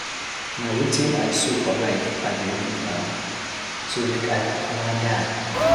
Na wetin I sow for life I dey reap now, so make I kukuma die.